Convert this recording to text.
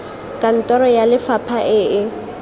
kantoro ya lefapha e e